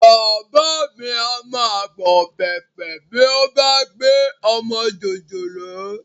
Bàbá mi á máa gbọ̀n pẹ̀pẹ̀ bí ó bá gbé ọmọ jòjòló